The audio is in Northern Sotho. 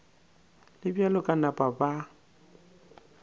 le bjalo ba napa ba